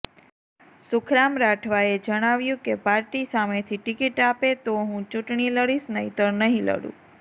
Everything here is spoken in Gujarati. સુખરામ રાઠવાએ જણાવ્યું કે પાર્ટી સામેથી ટિકીટ આપે તો હું ચૂંટણી લડીશ નહીતર નહી લડું